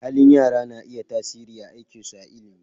Halin yara na iya tasiri a aikinsu a ilimi.